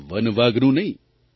one વાઘનું નહિં